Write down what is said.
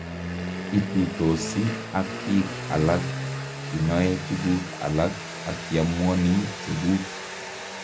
Itutosi ak biik alak inoe tuguk alak akiamuoni chekuuk